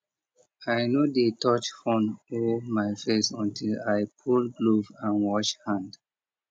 i no dey touch phone or my face until i pull glove and wash hand